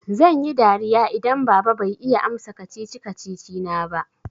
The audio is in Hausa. Zan yi dariya idan baba bai iya amsa kacici-kacici na ba.